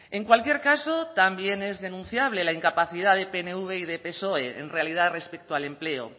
en cualquier caso también es denunciable la incapacidad de pnv y de psoe en realidad respecto al empleo